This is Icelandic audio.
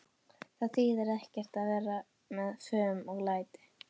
Það þýðir ekkert að vera með fum og læti.